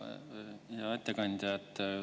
Hea ettekandja!